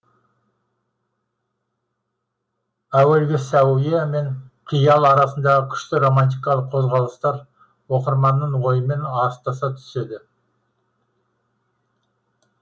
әуелгі сәуе мен қиял арасындағы күшті романтикалық қозғалыстар оқырманның ойымен астаса түседі